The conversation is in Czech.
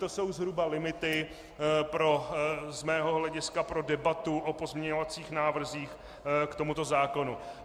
To jsou zhruba limity z mého hlediska pro debatu o pozměňovacích návrzích k tomuto zákonu.